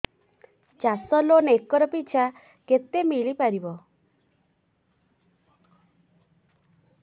ଚାଷ loan acre ପିଛା କେତେ ମିଳି ପାରିବ